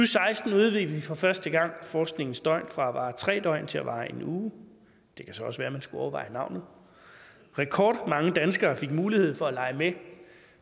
seksten udvidede vi for første gang forskningens døgn fra at vare tre døgn til at vare en uge det kan så også være at man skulle overveje navnet rekordmange danskere fik mulighed for at lege med